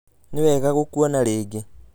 Nĩwega gũkuona rĩngĩ